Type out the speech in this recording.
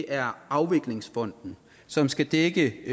er afviklingsfonden som skal dække